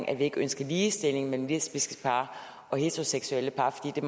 at vi ikke ønsker ligestilling mellem lesbiske par og heteroseksuelle par for det